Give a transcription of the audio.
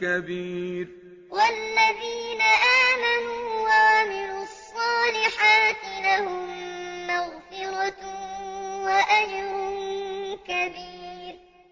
كَبِيرٌ الَّذِينَ كَفَرُوا لَهُمْ عَذَابٌ شَدِيدٌ ۖ وَالَّذِينَ آمَنُوا وَعَمِلُوا الصَّالِحَاتِ لَهُم مَّغْفِرَةٌ وَأَجْرٌ كَبِيرٌ